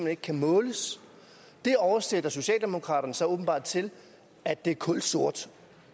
ikke kan måles det oversætter socialdemokraterne så åbenbart til at det er kulsort